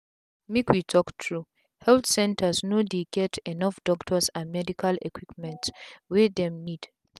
make we talk true health centers no dey get enough doctors and and medical equipment wey dem need.